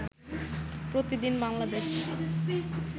প্রতিদিন বাংলাদেশ